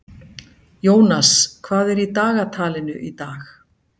Jónas, hvað er í dagatalinu í dag?